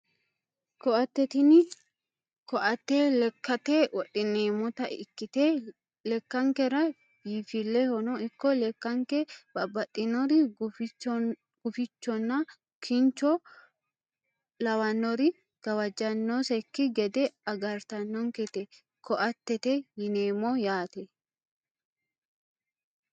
Koatte tini koatte lekkate wodhineemmota ikkite lekkankera biinfillehono ikko lekkanke babbaxxinori gufichonna kincho lawannori gawajjannosekki gede agartannonketa koattete yineemmo yaate